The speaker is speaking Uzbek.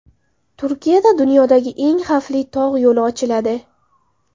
Turkiyada dunyodagi eng xavfli tog‘ yo‘li ochiladi .